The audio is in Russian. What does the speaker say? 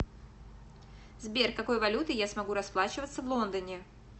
сбер какой валютой я смогу расплачиваться в лондоне